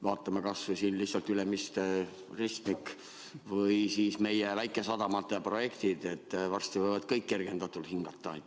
Vaatame kas või Ülemiste ristmiku või siis meie väikesadamate projekte, mis kõik võivad varsti kergendatult hingata.